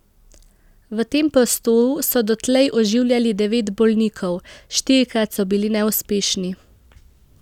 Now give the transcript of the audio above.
V tem prostoru so dotlej oživljali devet bolnikov, štirikrat so bili neuspešni.